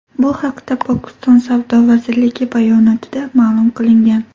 Bu haqda Pokiston savdo vazirligi bayonotida ma’lum qilingan .